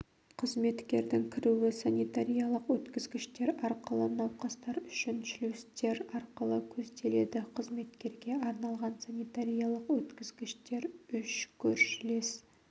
қызметкердің кіруі санитариялық өткізгіштер арқылы науқастар үшін шлюздер арқылы көзделеді қызметкерге арналған санитариялық өткізгіштер үш көршілес